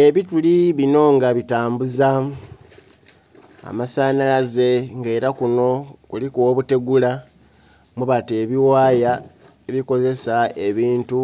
Ebituli bino nga bitambuza amasanalaze era kuno kuliku obutegula mwebata ebiwaaya ebikozesa ebintu